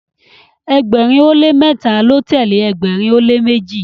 ẹgbẹrin o le mẹta lọ tẹle ẹgbẹrin o le meji